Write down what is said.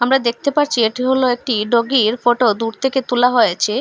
আমরা দেখতে পারছি এটি হলো একটি ডগির ফটো দূর থেকে তোলা হয়েছে।